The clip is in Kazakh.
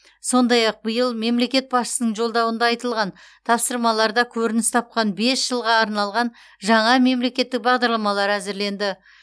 сондай ақ биыл мемлекет басшысының жолдауында айтылған тапсырмаларда көрініс тапқан бес жылға арналған жаңа мемлекеттік бағдарламалар әзірленді